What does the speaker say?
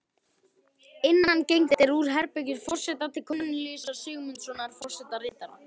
Innangengt er úr herbergi forseta til Kornelíusar Sigmundssonar forsetaritara.